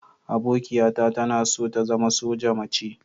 Abokiata tana so ta zama soja mace.